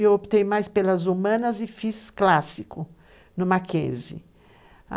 Eu optei mais pelas humanas e fiz clássico no Mackenzie.